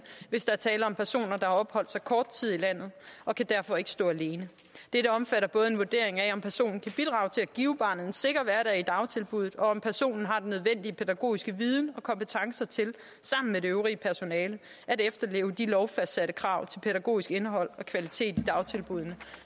hvis der er tale om personer der har opholdt sig kort tid i landet og kan derfor ikke stå alene dette omfatter både en vurdering af om personen kan bidrage til at give barnet en sikker hverdag i dagtilbuddet og om personen har den nødvendige pædagogiske viden og kompetence til sammen med det øvrige personale at efterleve de lovfastsatte krav til pædagogisk indhold og kvalitet i dagtilbuddene